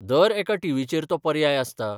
दर एका टी. व्ही.चेर तो पर्याय आसता.